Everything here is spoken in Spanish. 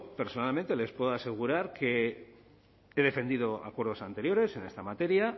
personalmente les puedo asegurar que he defendido acuerdos anteriores en esta materia